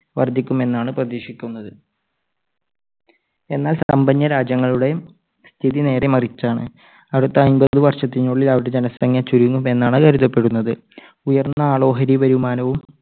വർദ്ധിക്കുമെന്നാണ് പ്രതീക്ഷിക്കുന്നത്. എന്നാൽ സമ്പന്ന രാജ്യങ്ങളുടെ സ്ഥിതി നേരെ മറിച്ചാണ്. അടുത്ത അമ്പത് വർഷത്തിനുള്ളിൽ അവരുടെ ജനസംഖ്യ ചുരുങ്ങും എന്നാണ് കരുതപ്പെടുന്നത്. ഉയർന്ന ആളോഹരി വരുമാനവും